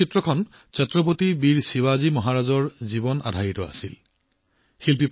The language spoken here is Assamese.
এই ছবিখন ছত্ৰপতি বীৰ শিৱাজী মহাৰাজৰ জীৱনৰ এক ঘটনাৰ আধাৰত নিৰ্মাণ কৰা হৈছিল